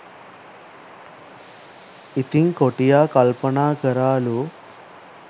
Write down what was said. ඉතිං කොටියා කල්පනා කරාලු